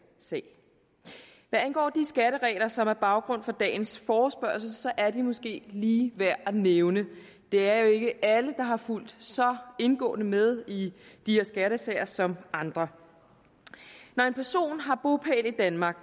sag hvad angår de skatteregler som er baggrunden for dagens forespørgsel er de måske lige værd at nævne det er jo ikke alle der har fulgt så indgående med i de her skattesager som andre når en person har bopæl i danmark